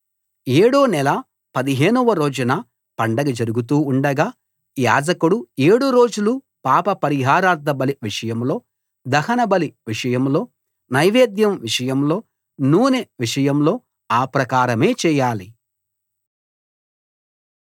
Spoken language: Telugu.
ఏడో నెల 15 వ రోజున పండగ జరుగుతూ ఉండగా యాజకుడు ఏడు రోజులు పాప పరిహారార్థబలి విషయంలో దహనబలి విషయంలో నైవేద్యం విషయంలో నూనె విషయంలో ఆ ప్రకారమే చేయాలి